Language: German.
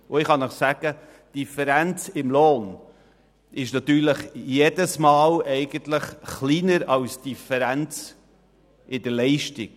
Die Lohndifferenz ist kleiner als die Differenz in der Leistung.